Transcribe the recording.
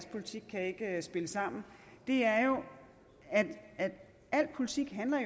politik der ikke kan spille sammen er jo at al politik handler